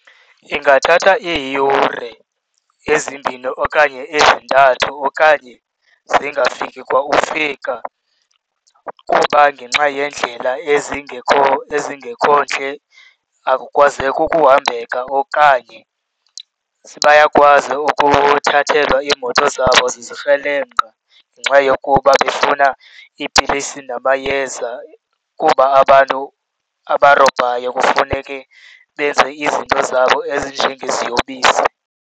Iingathatha iiyure ezimbini okanye ezintathu okanye zingafiki kwa ufika. Kuba ngenxa yeendlela ezingekho ntle akukwazeki ukuhambeka okanye bayakwazi ukuthathelwa iimoto zabo zizikrelemnqa ngenxa yokuba befuna iipilisi namayeza kuba abantu abarobhayo kufuneke benze izinto zabo ezinjengeziyobisi.